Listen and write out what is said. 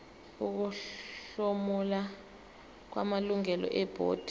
ukuhlomula kwamalungu ebhodi